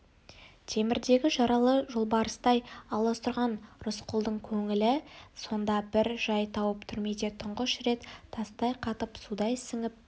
темірдегі жаралы жолбарыстай аласұрған рысқұлдың көңілі сонда бір жай тауып түрмеде түңғыш рет тастай қатып судай сіңіп